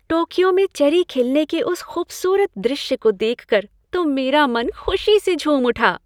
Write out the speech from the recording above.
Tokyo में cherry खिलने के उस खूबसूरत दृश्य को देखकर तो मेरा मन खुशी से झूम उठा।